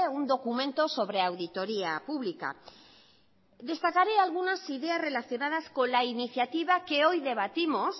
un documento sobre auditoría pública destacaré algunas ideas relacionadas con la iniciativa que hoy debatimos